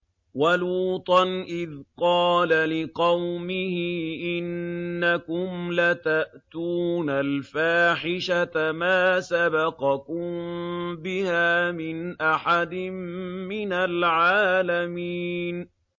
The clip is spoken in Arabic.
وَلُوطًا إِذْ قَالَ لِقَوْمِهِ إِنَّكُمْ لَتَأْتُونَ الْفَاحِشَةَ مَا سَبَقَكُم بِهَا مِنْ أَحَدٍ مِّنَ الْعَالَمِينَ